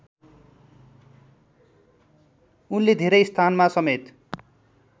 उनले धेरै स्थानमा समेत